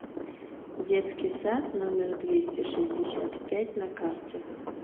детский сад номер двести шестьдесят пять на карте